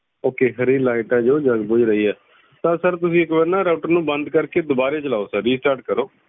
okay sir ਹਰੀ light ਆ ਜੋ ਜਗ ਬੁਝ ਰਹੀ ਆ ਤਾਂ sir ਤੁਸੀਂ ਇੱਕ ਵਾਰ ਨਾ router ਨੂੰ ਬੰਦ ਕਰਕੇ ਦਵਾਰੇ ਚਲਾਓ sirrestart ਕਰੋ